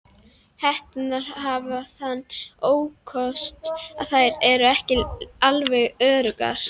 Hetturnar hafa þann ókost að þær eru ekki alveg öruggar.